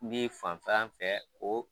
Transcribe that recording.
I bi fantan fɛ o